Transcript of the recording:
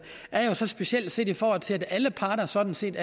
speciel set i forhold til at alle parter sådan set